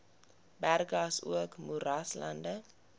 berge asook moeraslande